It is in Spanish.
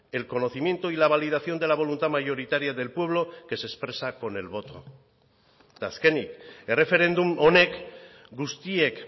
el conocimiento y la validación de la voluntad mayoritaria del pueblo que se expresa con el voto eta azkenik erreferendum honek guztiek